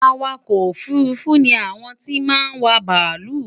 Awakò̩ òfurufú ni àwon tí máa n wa bàálù.